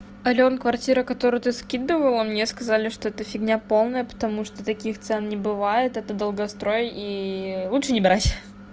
алён квартира которую ты скидывала мне сказали что это фигня полная потому что таких цен не бывает это долгострой и лучше не брать